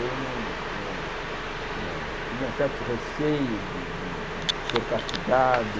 Eu não não não tinha certos receios de de de ser castigado.